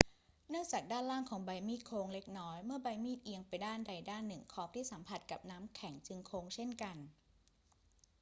เนื่องจากด้านล่างของใบมีดโค้งเล็กน้อย เมื่อใบมีดเอียงไปด้านใดด้านหนึ่ง ขอบที่สัมผัสกับน้ำแข็งจึงโค้งเช่นกัน